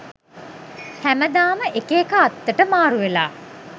හැමදාම එක එක අත්තට මාරුවෙලා